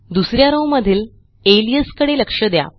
दुस या रॉव मधील अलियास कडे लक्ष द्या